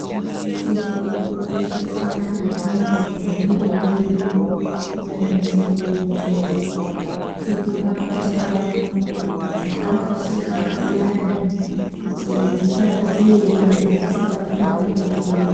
Sisirwe kukoshesa ntengo dzemwiri wedu kunyanya ntengo dze dziri pandau dzakafishika kuti dzisadziirira kuti dzisabatwa ngezvirwere.